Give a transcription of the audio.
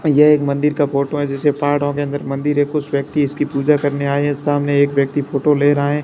ये एक के मंदिर का फोटो है जिसे पहाड़ों के अंदर मंदिर है कुछ व्यक्ति इसकी पूजा करने आए हैं सामने एक व्यक्ति फोटो ले रहा है।